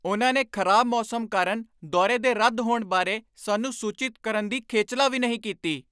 ਉਨ੍ਹਾਂ ਨੇ ਖ਼ਰਾਬ ਮੌਸਮ ਕਾਰਨ ਦੌਰੇ ਦੇ ਰੱਦ ਹੋਣ ਬਾਰੇ ਸਾਨੂੰ ਸੂਚਿਤ ਕਰਨ ਦੀ ਖੇਚਲਾ ਵੀ ਨਹੀਂ ਕੀਤੀ।